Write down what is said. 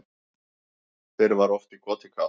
Fyrr var oft í koti kátt